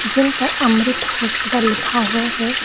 जिन पर अमृत हॉस्पिटल लिखा हुआ है।